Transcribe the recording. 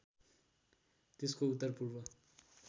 त्यसको उत्तर पूर्व